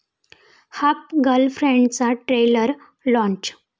half गर्लफ्रेंड'चं trailer launch